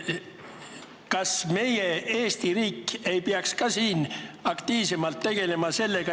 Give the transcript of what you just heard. Kas meie Eesti riik ei peaks ka aktiivsemalt oma asutuste kaitsega tegelema?